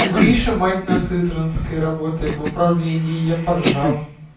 гриша мать на сызранской работает в управлении я поржал